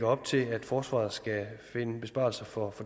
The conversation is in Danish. op til at forsvaret skal finde besparelser for